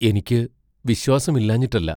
എനിക്കു വിശ്വാസം ഇല്ലാഞ്ഞിട്ടല്ല.